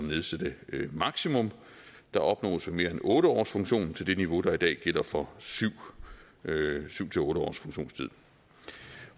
nedsætte det maksimum der opnås ved mere end otte års funktion til det niveau der i dag gælder for syv otte års funktionstid